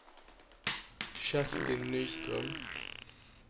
Kerstin Nyström